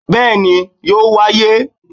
Béèni yóò wáyé